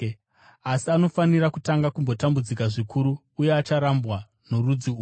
Asi anofanira kutanga kumbotambudzika zvikuru uye acharambwa norudzi urwu.